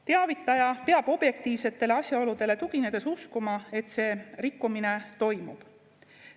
Teavitaja peab objektiivsetele asjaoludele tuginedes uskuma, et see rikkumine toimub.